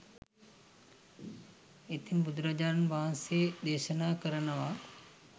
ඉතින් බුදුරජාණන් වහන්සේ දේශනා කරනවා